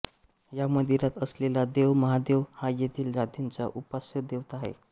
या मंदिरात असलेला देव महादेव हा येथील जातींची उपास्यदेवता आहे